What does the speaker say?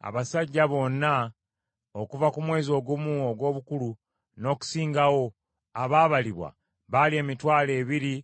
Abasajja bonna okuva ku mwezi ogumu ogw’obukulu n’okusingawo, abaabalibwa, baali emitwalo ebiri